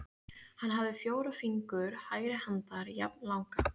Hann hafði fjóra fingur hægri handar jafnlanga.